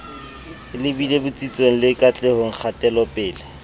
lebile botsitsong le katlehong kgatelopele